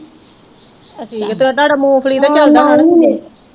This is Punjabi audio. ਤੁਹਾਡਾ ਮੂਫਲੀ ਤਾ ਚਲਦਾ ਹੋਣਾ